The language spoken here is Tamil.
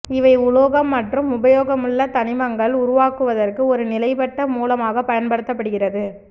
இவை உலோகம் மற்றும் உபயோகமுள்ள தனிமங்கள் உருவாக்குவதற்கு ஒருநிலைப்பட்ட மூலமாக பயன்படுத்தப்படுகிறது